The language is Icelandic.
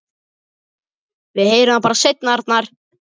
Við heyrum það bara seinna, Arnar.